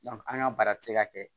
an ka baara tɛ se ka kɛ